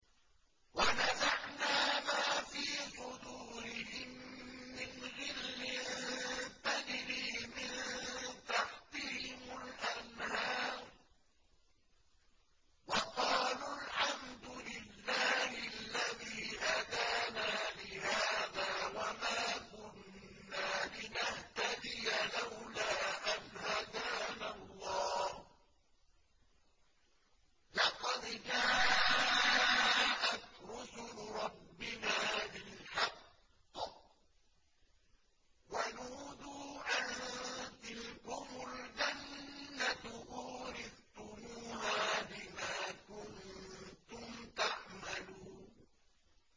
وَنَزَعْنَا مَا فِي صُدُورِهِم مِّنْ غِلٍّ تَجْرِي مِن تَحْتِهِمُ الْأَنْهَارُ ۖ وَقَالُوا الْحَمْدُ لِلَّهِ الَّذِي هَدَانَا لِهَٰذَا وَمَا كُنَّا لِنَهْتَدِيَ لَوْلَا أَنْ هَدَانَا اللَّهُ ۖ لَقَدْ جَاءَتْ رُسُلُ رَبِّنَا بِالْحَقِّ ۖ وَنُودُوا أَن تِلْكُمُ الْجَنَّةُ أُورِثْتُمُوهَا بِمَا كُنتُمْ تَعْمَلُونَ